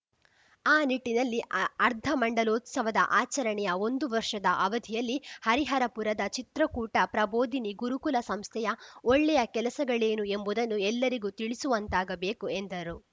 ಆ ನಿಟ್ಟಿನಲ್ಲಿಅ ಅರ್ಧಮಂಡಲೋತ್ಸವದ ಆಚರಣೆಯ ಒಂದು ವರ್ಷದ ಅವಧಿಯಲ್ಲಿ ಹರಿಹರಪುರದ ಚಿತ್ರಕೂಟ ಪ್ರಬೋದಿನಿ ಗುರುಕುಲ ಸಂಸ್ಥೆಯ ಒಳ್ಳೆಯ ಕೆಲಸಗಳೇನು ಎಂಬುದನ್ನು ಎಲ್ಲರಿಗೂ ತಿಳಿಸುವಂತಾಗಬೇಕು ಎಂದರು